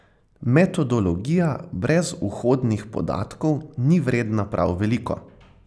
Metodologija brez vhodnih podatkov ni vredna prav veliko.